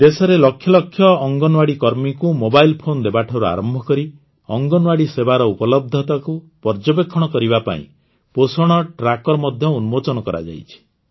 ଦେଶରେ ଲକ୍ଷଲକ୍ଷ ଅଙ୍ଗନୱାଡ଼ି କର୍ମୀଙ୍କୁ ମୋବାଇଲ୍ ଫୋନ୍ ଦେବାଠାରୁ ଆରମ୍ଭ କରି ଅଙ୍ଗନୱାଡ଼ି ସେବାର ଉପଲବ୍ଧତାକୁ ପର୍ଯ୍ୟବେକ୍ଷଣ କରିବା ପାଇଁ ପୋଷଣ ଟ୍ରାକର୍ ମଧ୍ୟ ଉନ୍ମୋଚନ କରାଯାଇଛି